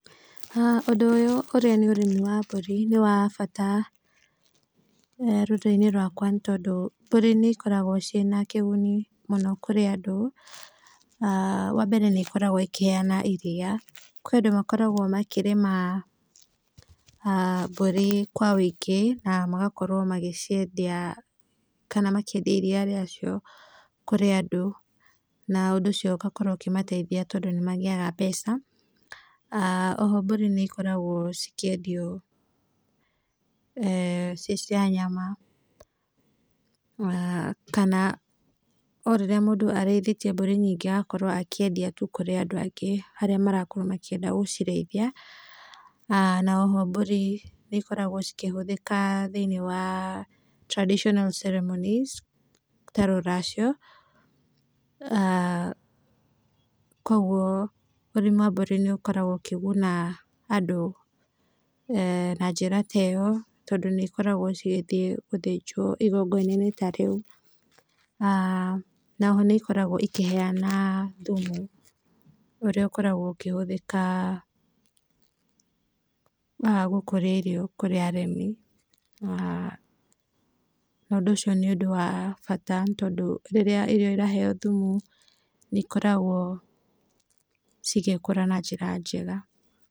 Haha ũndũ ũyũ ũrĩa nĩ ũrĩmi wa mbũri nĩ wa bata rũrĩrĩ-inĩ rwakwa nĩtondũ mbũri nĩikoragwo ciĩna kĩguni mũno kũrĩ andũ. Wa mbere nĩĩkoragwo ĩkĩheana iria, kwĩ andũ makoragwo makĩrĩma mbũri kwa wĩingĩ na magakorwo magĩciendia kana makĩendia iria rĩacio kũrĩ andũ, na ũndũ ũcio ũgakorwo ũkĩmateithia tondũ nĩmagĩaga mbeca. Oho mbũri nĩikoragwo cikĩendio ciĩ cia nyama kana o rĩrĩa mũndũ arĩithĩtie mbũri nyingĩ agakorwo akĩendia tu kũrĩ andũ angĩ, arĩa marakorwo makĩnenda gũcirĩithia, na oho mbũri nĩikoragwo cikĩhũthĩka thĩiniĩ wa traditional ceremonies ta rũracio kuoguo ũrĩmi wa mbũri nĩũkoragwo ũkĩguna andũ na njĩra ta ĩyo tondũ nĩikoragwo cigĩthiĩ gũthĩjwo igongona-inĩ ta rĩu. Na, oho nĩikoragwo ikĩhena thumu, ũrĩa ũkoragwo ũkĩhũthĩka gũkũria irio kũrĩ arĩmi na ũndũ ũcio nĩ ũndũ wa bata nĩ tondũ rĩrĩa irio iraheo thumu nĩikoragwo cigĩkũra na njĩra njega.